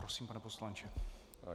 Prosím, pane poslanče.